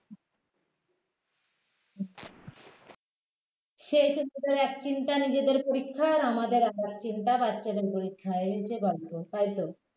সে সব . এক চিন্তা নিজেদের পরীক্ষার আমাদের আরেক চিন্তা বাচ্চাদের পরীক্ষা এই হচ্ছে গল্প তাই তো